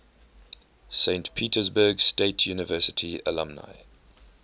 saint petersburg state university alumni